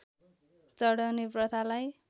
चढाउने प्रथालाई